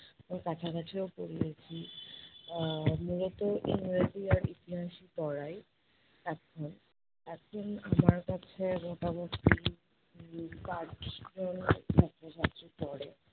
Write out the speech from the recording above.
ও কাছাকাছিও পড়িয়েছি। আহ মূলত ইংরাজি আর ইতিহাস ও পড়াই এখন। এখন আমার কাছে মোটামোটি জন ছাত্রছাত্রী পড়ে।